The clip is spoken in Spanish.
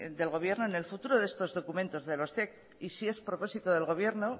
del gobierno en el futuro de estos documentos de los zec y si es propósito del gobierno